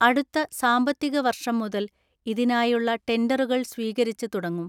അടുത്ത സാമ്പത്തിക വർഷം മുതൽ ഇതിനായുള്ള ടെണ്ടറുകൾ സ്വീക രിച്ച് തുടങ്ങും.